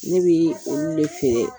Ne bi olu de feere.